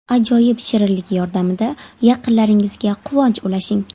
Ajoyib shirinlik yordamida yaqinlaringizga quvonch ulashing!